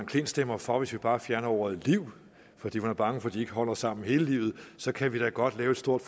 klint stemmer for hvis vi bare fjerner ordet liv fordi man er bange for at de ikke holder sammen hele livet så kan vi da godt lave et stort